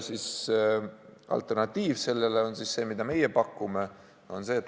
Alternatiiv on see, mida meie pakume.